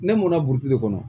Ne mɔnna burusi de kɔnɔ